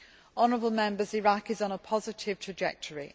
Honourable Members, Iraq is on a positive trajectory.